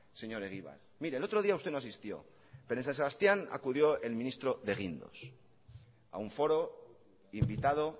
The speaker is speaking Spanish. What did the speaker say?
señor egibar mire el otro día usted no asistió pero en san sebastián acudió el ministro de guindos a un foro invitado